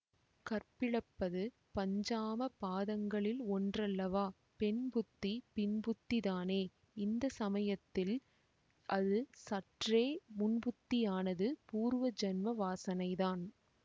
கற்பிழப்பது பஞ்சமாபாதகங்களில் ஒன்றல்லவா பெண் புத்தி பின்புத்திதானே இந்த சமயத்தில் அது சற்றே முன்புத்தியானது பூர்வ ஜன்ம வாசனைதான்